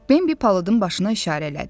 Bembidə palıdın başına işarə elədi.